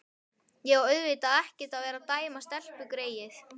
Ég á auðvitað ekkert að vera að dæma stelpugreyið.